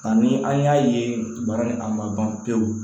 Ani an y'a ye baara ni a ma ban pewu